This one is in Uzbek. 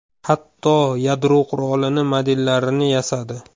Hatto yadro qurolini modellarini yasadi.